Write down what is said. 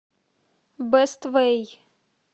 бэст вэй